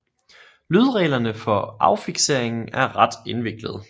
Lydreglerne for affikseringen er ret indviklede